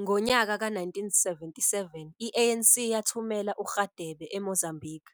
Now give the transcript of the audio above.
Ngonyaka ka-1977 i-ANC yathumela uRadebe eMozambique,